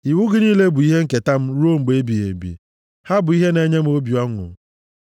Iwu gị niile bụ ihe nketa m ruo mgbe ebighị ebi; ha bụ ihe na-enye obi m ọṅụ.